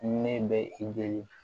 Ne bɛ i jeli